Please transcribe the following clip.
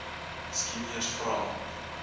miskien eers vra